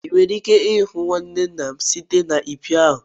ị nwere ike ịhụ nwanne nna m site na mpio ahụ